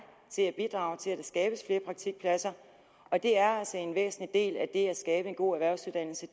til at bidrage til at der skabes flere praktikpladser og det er altså en væsentlig del af det at skabe en god erhvervsuddannelse